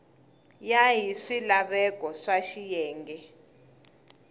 ya hi swilaveko swa xiyenge